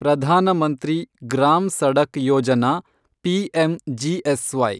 Pradhan Mantri Gram Sadak Yojana, PMGSY